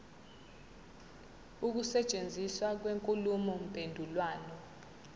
ukusetshenziswa kwenkulumo mpendulwano